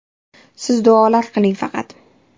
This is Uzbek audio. Siz duolar qiling faqat”.